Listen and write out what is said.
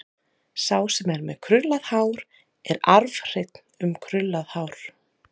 Sá sem er með krullað hár er arfhreinn um krullað hár.